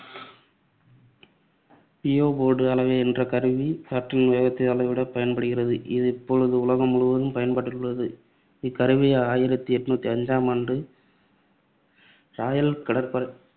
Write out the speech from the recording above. Beaufort அளவை என்ற கருவி காற்றின் வேகத்தை அளவிட பயன்படுகிறது. இது இப்பொழுது உலகம் முழுவதும் பயன்பாட்டில் உள்ளது. இக்கருவி ஆயிரத்தி எட்நூத்தி ஐந்தாம் ஆண்டு இராயல் கப்பற்படை